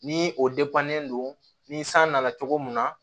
Ni o don ni san nana cogo mun na